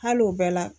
Hali o bɛɛ la